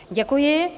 Děkuji.